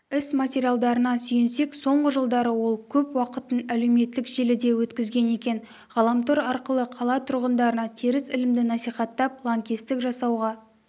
іс материалына сүйенсек соңғы жылдары ол көп уақытын әлеуметтік желіде өткізген екен ғаламтор арқылы қала тұрғындарына теріс ілімді насихаттап лаңкестік жасауға